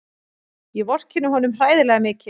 Ég vorkenni honum hræðilega mikið.